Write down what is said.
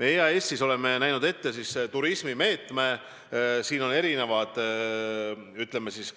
Me oleme EAS-is ette näinud turismimeetme